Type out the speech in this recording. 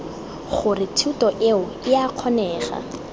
gore thuto eo ea kgonega